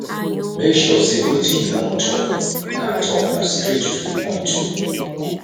make sure sey wetin you wan tok na tok na straight to di point o